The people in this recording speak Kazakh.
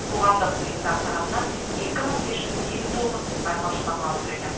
қоғамдық ұйымдар тарапынан екі мың бес жүз елу тоғыз байқаушы бақылап отыр екен